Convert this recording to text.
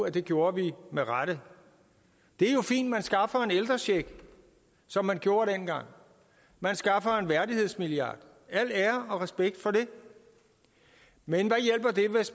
at det gjorde vi med rette det er jo fint at man skaffer en ældrecheck som man gjorde dengang man skaffer en værdighedsmilliard al ære og respekt for det men